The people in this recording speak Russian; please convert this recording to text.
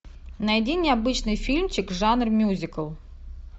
найди необычный фильмчик жанр мюзикл